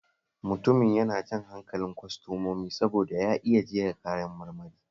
Mutumin yana jan hankalin kwastomomi saboda ya iya jera kayan marmari